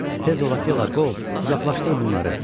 Tez ol Akella, qov, uzaqlaşdır bunları!